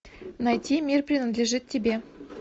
найти мир принадлежит тебе